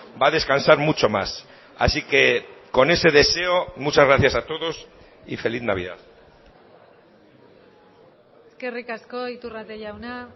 va a descansar mucho más así que con ese deseo muchas gracias a todos y feliz navidad eskerrik asko iturrate jauna